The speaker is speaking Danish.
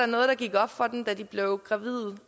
noget der gik op for dem da de blev gravide